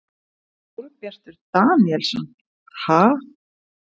Sólbjartur Daníelsson: Ha?